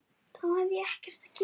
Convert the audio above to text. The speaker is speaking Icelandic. Fertram, hvaða leikir eru í kvöld?